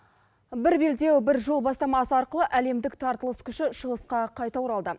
бір белдеу бір жол бастамасы арқылы әлімдік тартылыс күші шығысқа қайта оралды